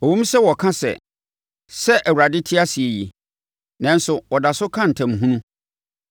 Ɛwom sɛ wɔka sɛ, ‘Sɛ Awurade te ase yi,’ nanso wɔda so ka ntam hunu.”